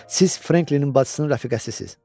Siz Franklinin bacısının rəfiqəsisiz?